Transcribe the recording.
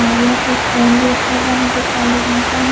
और यहां पे फोन भी रखा हुआ है जो काले रंग का है।